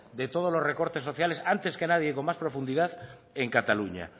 de todos los recortes sociales antes que nadie con más profundidad en cataluña